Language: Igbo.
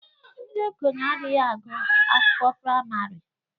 Ndi okenye adịghị agụ akwụkwọ praịmari